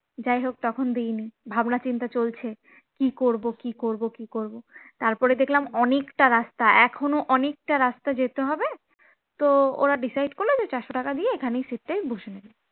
যাই হোক তখন দিনি, ভাবনা চিন্তা চলছে কে করব কি করব কি করব তারপরে দেখলাম অনেকটা রাস্তা এখনো অনেকটা রাস্তা যেতে হবে তো ওরা decide করল যে চারশ টাকা দিয়ে এখানে seat টাই বসে যায়